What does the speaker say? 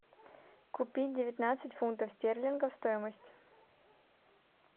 купить девятнадцать фунтов стерлингов стоимость